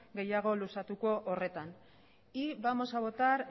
gehiago luzatuko horretan vamos a votar